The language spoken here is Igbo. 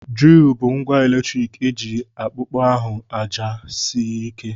Dril bụ ngwa eletrik eji akpọpu ahụ aja sịrị ike.